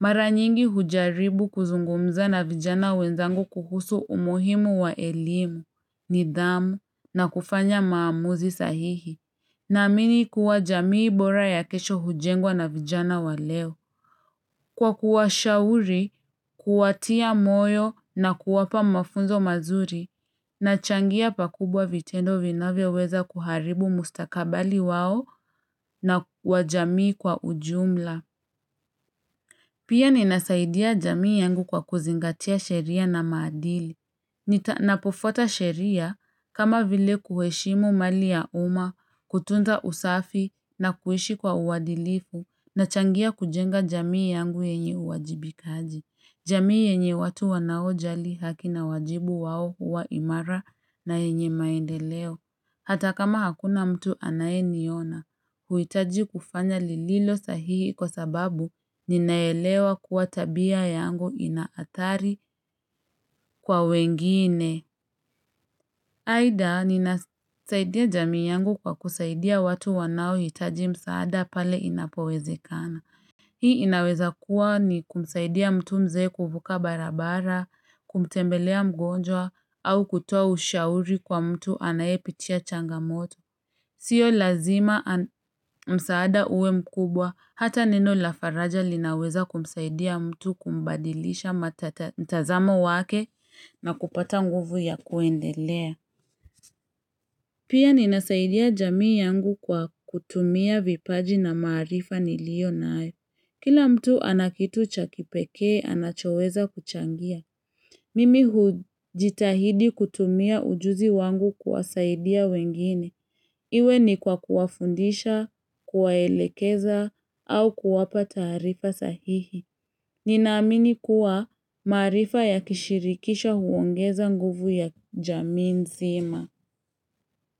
Mara nyingi hujaribu kuzungumza na vijana wenzangu kuhusu umuhimu wa elimu, nidhamu na kufanya maamuzi sahihi. Naamini kuwa jamii bora ya kesho hujengwa na vijana wa leo. Kwa kuwashauri, kuwatia moyo na kuwapa mafunzo mazuri, nachangia pakubwa vitendo vinavyoweza kuharibu mustakabali wao na wa jamii kwa ujumla. Pia ninasaidia jamii yangu kwa kuzingatia sheria na maadili. Napofuata sheria kama vile kuheshimu mali ya umma, kutunza usafi na kuishi kwa uadilifu nachangia kujenga jamii yangu yenye uwajibikaji. Jamii yenye watu wanaojali haki na wajibu wao huwa imara na yenye maendeleo. Hata kama hakuna mtu anayeniona, huhitaji kufanya lililo sahihi kwa sababu ninaelewa kuwa tabia yangu ina athari kwa wengine. Aidha, ninasaidia jamii yangu kwa kusaidia watu wanaohitaji msaada pale inapowezekana. Hii inaweza kuwa ni kumsaidia mtu mzee kuvuka barabara, kumtembelea mgonjwa au kutoa ushauri kwa mtu anayepitia changamoto. Sio lazima msaada uwe mkubwa, hata neno la faraja linaweza kumsaidia mtu kumbadilisha mtazamo wake na kupata nguvu ya kuendelea. Pia ninasaidia jamii yangu kwa kutumia vipaji na maarifa niliyonayo. Kila mtu ana kitu cha kipekee, anachoweza kuchangia. Mimi hujitahidi kutumia ujuzi wangu kuwasaidia wengine. Iwe ni kwa kuwafundisha, kuwaelekeza, au kuwapa taarifa sahihi. Ninaamini kuwa maarifa ya kishirikisho huongeza nguvu ya jamii nzima.